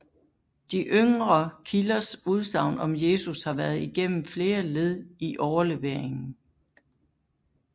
De yngre kilders udsagn om Jesus har været igennem flere led i overleveringen